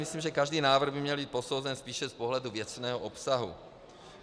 Myslím, že každý návrh by měl být posouzen spíše z pohledu věcného obsahu.